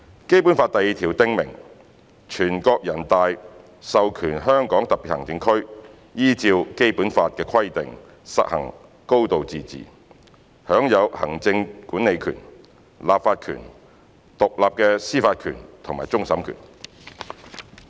《基本法》第二條訂明，"全國人民代表大會授權香港特別行政區依照本法的規定實行高度自治，享有行政管理權、立法權、獨立的司法權和終審權。